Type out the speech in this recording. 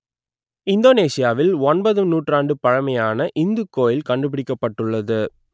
இந்தோனேசியாவில் ஒன்பதும் நூற்றாண்டு பழமையான இந்துக் கோயில் கண்டுபிடிக்கப்பட்டது